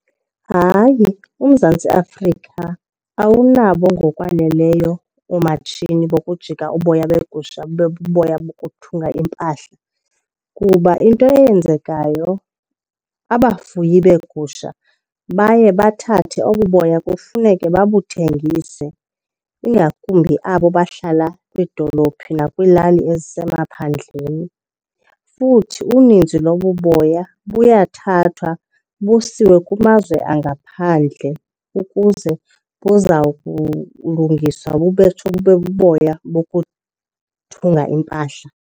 Hayi, uMzantsi Afrika awunabo ngokwaneleyo oomatshini bokujika uboya begusha bube buboya bokuthunga impahla kuba into eyenzekayo abafuyi beegusha baye bathathe obu boya kufuneke babuthengise, ingakumbi abo bahlala kwiidolophi nakwiilali ezisemaphandleni. Futhi uninzi lobu boya buyathathwa busiwe kumazwe angaphandle ukuze buza kulungiswa bube buboya bokuthunga impahla.